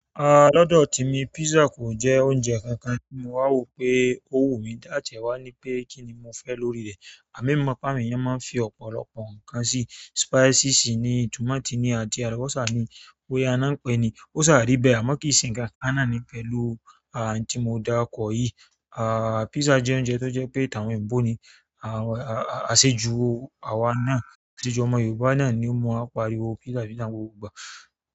Ah lọ́dọ̀ ti mi pizza kò jẹ́ oúnjẹ kankan tí mo wà wo pé ó wù mí dá, a tiẹ wa ni pé kíni mo fẹ́ lórí rẹ̀ àmọ emi mọ̀ pé àwọn eeyan máa ń fi ọ̀pọ̀lọpọ̀ nǹkan sí. Spicy sì ni, tomato ni àti alubọsa ni, boyá n náà n pe ni. Ó sáà rí bẹ́ẹ̀, àmọ́ kìí ṣe nǹkankan náà ni pẹ̀lú ah ntí mo dá kọ̀ yìí. Ah pizza jẹ́ oúnjẹ tó jẹ́ pé tawọn eebo ni. Ah asẹ́jù àwa náà, asẹ́jù ọmọ Yorùbá náà ni mọ̀ á pariwo pizza pizza n gbogbo ìgbà.